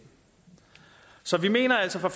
så vi mener altså fra